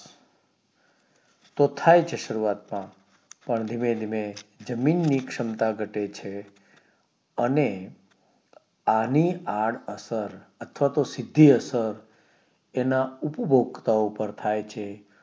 પણ ધીમે ધીમે જમીન ની ક્ષમતા ઘટે છે અને આની આડ અસર અથવા તો સીધી અસર એના ઉપભોક્તાઓ પાર થાય છે